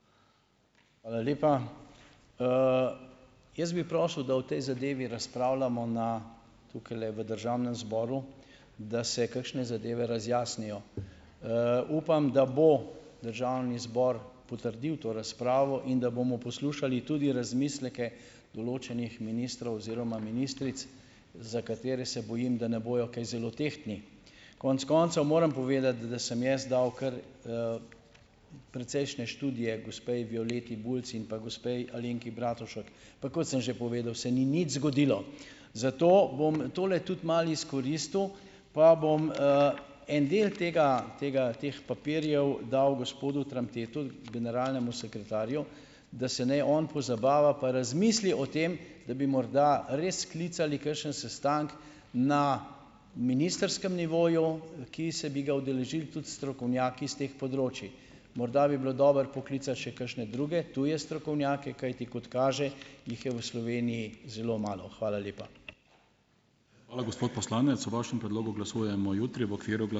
Hvala lepa. Jaz bi prosil, da o tej zadevi razpravljamo na, tukajle v državnem zboru, da se kakšne zadeve razjasnijo. Upam, da bo državni zbor potrdil to razpravo in da bomo poslušali tudi razmisleke določenih ministrov oziroma ministric, za katere se bojim, da ne bojo kaj zelo tehtni. Konec koncev moram povedati, da sem jaz dal kar, precejšne študije gospe Violeti Bulc in pa gospe Alenki Bratušek. Pa, kot sem že povedal, se ni nič zgodilo. Zato bom tole tudi malo izkoristil pa bom, en del tega, tega, teh papirjev dal gospodu Tramtetu, generalnemu sekretarju, da se naj on pozabava pa razmisli o tem, da bi morda res sklicali kakšen sestanek na ministrskem nivoju, ki bi se ga udeležili tudi strokovnjaki s teh področij. Morda bi bilo dobro poklicati še kakšne druge, tuje strokovnjake. Kajti kot kaže, jih je v Sloveniji zelo malo. Hvala lepa.